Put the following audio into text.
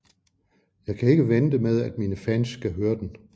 Jeg kan ikke vente med at mine fans skal høre den